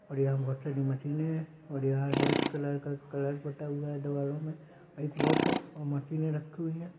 और यहाँ बहुत सारी मशीने है और यहाँ रेड कलर का कलर पुता हुआ है यहां दिवालो में एक वॉच है मशीने रखी हुई है।